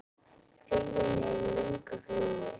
Huginn er í löngu flugi.